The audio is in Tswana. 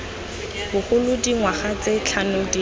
bogolo dingwaga tse tlhano dingwe